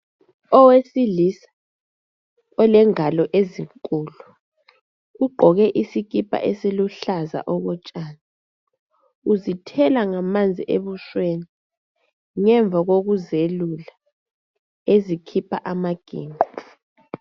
Owesilisa olengalo ezinkulu, ugqoke isikipha esiluhlaza okotshani. Uzithela ngamanzi ebusweni, ngemva kwekuziyelula, ezikhipha amaginqo.